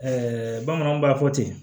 bamananw b'a fɔ ten